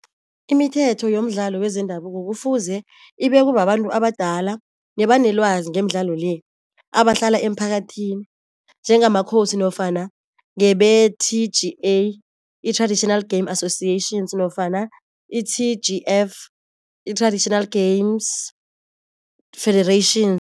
Imithetho yomdlalo wezendabuko kufuze ibekwe babantu abadala nebanelwazi ngemidlalo le, abahlala emphakathini njengamakhosi nofana ngebe-T_G_A i-Traditional Game Associations nofana i-T_G_F i-Traditional Games Federation.